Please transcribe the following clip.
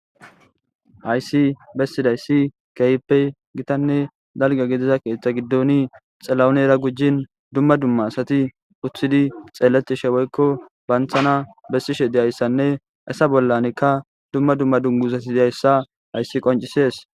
hayssi bessidayssi kayppe gitanne dalga gidiza keeththa giddoni xalaonera gujjin dumma dumma asati uththidi xeeletishe woykko banthana bessishe deyayssanne isa bollanekka dumma dumma dunguzati dyayssa hayssi qoncisees